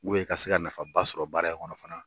Bu ye ka se ka nafaba sɔrɔ baara in kɔnɔ fana.